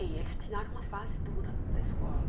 E eles pegaram uma fase dura da escola.